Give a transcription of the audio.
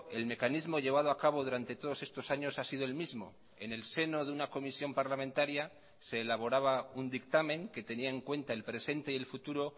el mecanismo llevado a cabo durante todos estos años ha sido el mismo en el seno de una comisión parlamentaria se elaboraba un dictamen que tenía en cuenta el presente y el futuro